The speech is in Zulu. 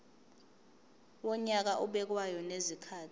wonyaka obekwayo ngezikhathi